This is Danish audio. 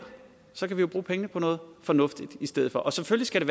så kan vi jo bruge pengene på noget fornuftigt i stedet for og selvfølgelig